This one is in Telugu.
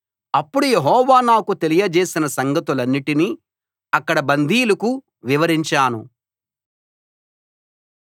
అప్పుడు యెహోవా నాకు తెలియజేసిన సంగతులన్నిటినీ అక్కడి బందీలకు వివరించాను